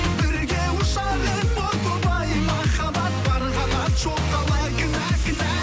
бірге ұшар ем о тоба ай махаббат бар қанат жоқ қалай кінә кінә